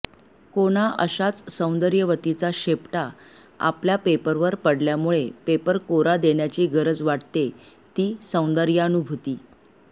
कोणा अशाच सौंदर्यवतीचा शेपटा आपल्या पेपरवर पडल्यामुळे पेपर कोरा देण्याची गरज वाटते ती सौंदर्यानुभूती